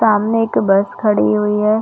सामने एक बस खड़ी हुई है।